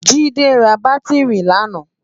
Jide rá bàtirí làná